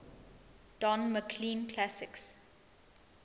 don mclean classics